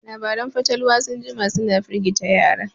Labaran fatalwa sun jima suna firgita yara